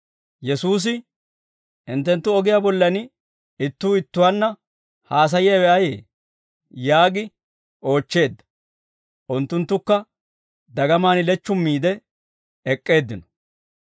Yesuusi, «Hinttenttu ogiyaa bollan ittuu ittuwaanna haasayiyaawe ayee?» yaagi oochcheedda. Unttunttukka dagamaan lechchummiide ek'k'eeddino.